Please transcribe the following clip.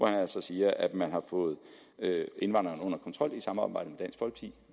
altså siger at man har fået indvandringen under kontrol i samarbejde